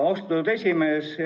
Austatud esimees!